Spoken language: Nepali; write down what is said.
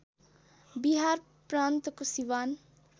बिहार प्रान्तको सिवान